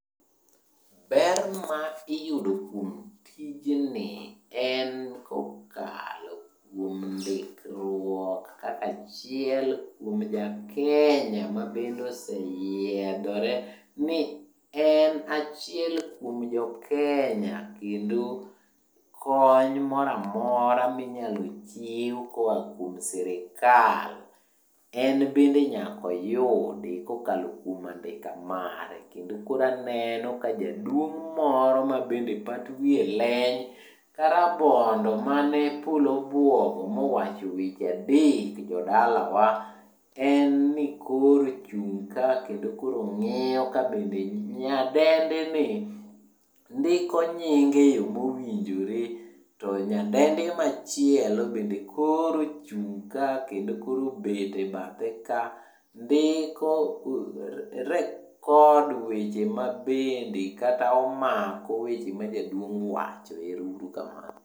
Ber ma iyudo kuom tijni en kokalo kuom ndikruok kaka achiel kuom jakenya mabende oseyiedhore ni en achiel kuom jokenya, kendo kony moroamora minyalo chiw koa kuom sirikal en bende nyaka oyudi kokalo kujom andika mare. Kendo koro aneno ka jaduong' moro mabende pat wiye leny ka rabondo mane polo obuogo mowacho weche adek jodalawa, en ni koro ochung' ka kendo koro nhg'iyo ka nyadendini ndiko nyinge e yo mowinjore, to nyadendi machielo bende koro ochung' ka kendo koro obet e bathe ka. Record weche ma bende kata omako weche ma jaduong' wacho. Ero uru kamano.